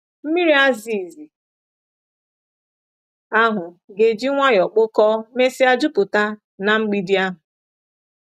Mmiri aịzị ahụ ga-eji nwayọ kpụkọọ, mesịa jupụta na mgbidi ahụ.